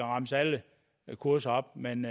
remse alle kurserne op men